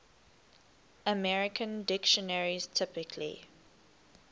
american dictionaries typically